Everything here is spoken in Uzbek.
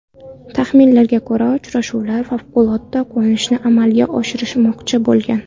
Taxminlarga ko‘ra, uchuvchilar favqulodda qo‘nishni amalga oshirmoqchi bo‘lgan.